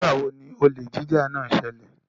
Nigba wo ni olè jíjà náà ṣẹlẹ?